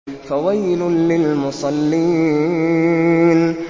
فَوَيْلٌ لِّلْمُصَلِّينَ